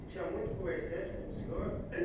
E tinha muito comerciante como o senhor?